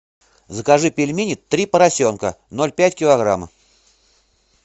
закажи пельмени три поросенка ноль пять килограмма